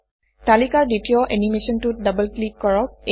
তালিকাৰ দ্বিতীয় এনিমেচনটোত ডবল ক্লিক কৰক